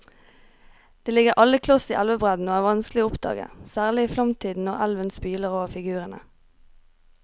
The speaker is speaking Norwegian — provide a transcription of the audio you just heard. De ligger alle kloss i elvebredden og er vanskelige å oppdage, særlig i flomtiden når elven spyler over figurene.